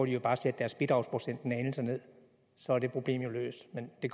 de bare sætte deres bidragsprocent en anelse ned så er det problem jo løst men det